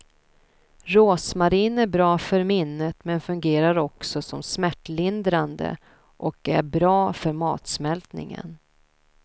Rosmarin är bra för minnet men fungerar också som smärtlindrande och är bra för matsmältningen.